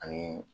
Ani